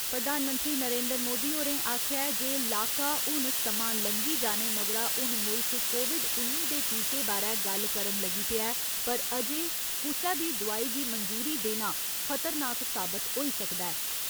प्रधानमंत्री नरेंद्र मोदी होरें आखेआ ऐ जे लाका हून समां लंघी जाने मगरा हून मुल्ख कोविड उन्नी दे टीके बारै गल्ल करन लगी पेआ ऐ पर अजें कुसै बी दोआई गी मंजूरी देना खतरनाक साबत होई सकदा ऐ।